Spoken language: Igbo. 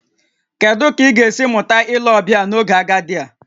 Kedu ka ị ga-esi mụta ile ọbịa n'oge agadi a?